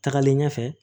Tagalen ɲɛfɛ